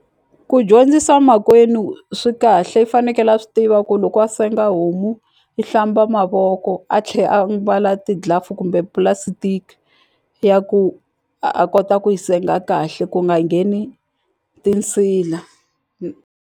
Ku dyondzisa makwenu swi kahle i fanekele a swi tiva ku loko a senga homu i hlamba mavoko a tlhe a mbala ti-glove kumbe plastic ya ku a kota ku yi senga kahle ku nga ngheni tinsila .